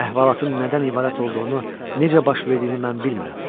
Əhvalatın nədən ibarət olduğunu, necə baş verdiyini mən bilmirəm.